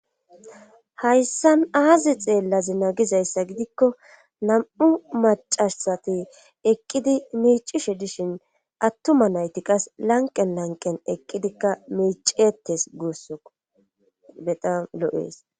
hayssan aazi xeellazina gizayssa gidikko nam'u macasati eqqidi miicishe dishin attuma nayti qas lanqen lanqen eqqidikka miicetes gussukko bexam lo'ees